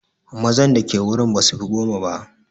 mazan da ke wurin basufi goma ba